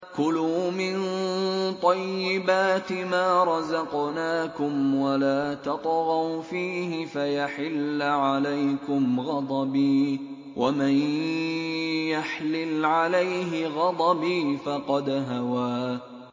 كُلُوا مِن طَيِّبَاتِ مَا رَزَقْنَاكُمْ وَلَا تَطْغَوْا فِيهِ فَيَحِلَّ عَلَيْكُمْ غَضَبِي ۖ وَمَن يَحْلِلْ عَلَيْهِ غَضَبِي فَقَدْ هَوَىٰ